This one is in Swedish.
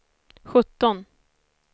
sjutton